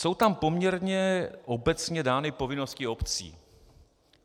Jsou tam poměrně obecně dány povinnosti obcí.